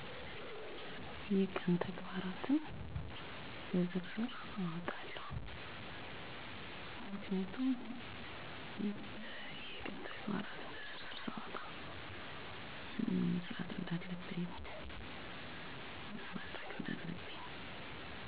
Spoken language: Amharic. አዎ፣ አብዛኛውን ጊዜ ቀንዴን አስቀድሜ እቅድ አውጣለሁ። ዋና አላማው ግዴታዎቼን ለማስተናገድ እና ጊዜዬን በቅናሽ ለማዋል ነው። ሂደቱ በቀላሉ የሚከተለው ነው፦ 1. የቀን መቁጠሪያ ላይ